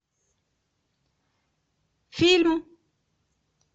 фильм